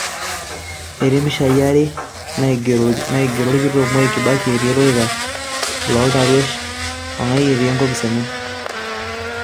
etii impishai are naigero olkitok Mwai kibaki etii olorika looltaruesh o eng'ae etii enkopis enye